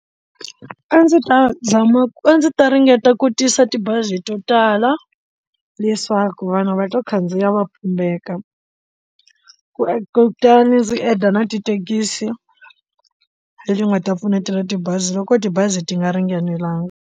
A ndzi ta zama ku a ndzi ta ringeta ku tisa tibazi to tala leswaku vanhu va to khandziya va pumbeka ku e kutani ndzi enda na tithekisi leti nga ta pfuneta na tibazi loko tibazi ti nga ringanelanga.